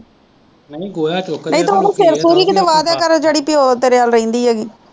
ਪਿਓ ਤੇਰੇ ਵੱਲ ਰਹਿੰਦੀ